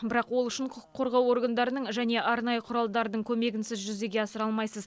бірақ ол үшін құқық қорғау органдарының және арнайы құралдардың көмегінсіз жүзеге асыра алмайсыз